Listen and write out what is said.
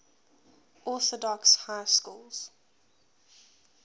orthodox high schools